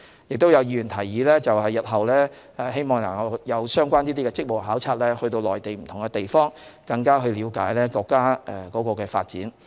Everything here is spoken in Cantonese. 亦有議員提議，希望日後能有相關的職務考察，到內地不同地方了解國家的發展。